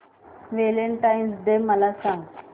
Valentine's डे मला सांग